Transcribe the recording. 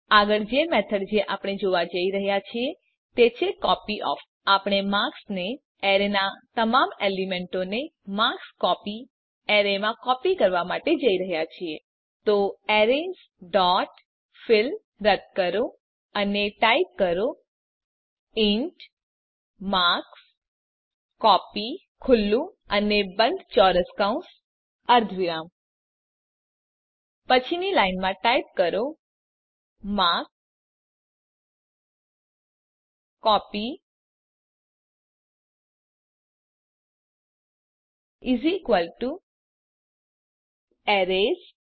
આગળ જે મેથડ જે આપણે જોવા જઈ રહ્યા છીએ તે છે કોપયોફ આપણે માર્ક્સ એરેનાં તમામ એલીમેન્તોને માર્કસ્કોપી એરેમાં કોપી કરવા માટે જઈ રહ્યા છીએ તો એરેઝ ડોટ ફિલ રદ્દ કરો અને ટાઈપ કરો ઇન્ટ માર્કસ્કોપી પછીની લાઈનમાં ટાઈપ કરો માર્કસ્કોપી એરેઝ